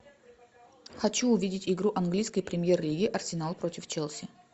хочу увидеть игру английской премьер лиги арсенал против челси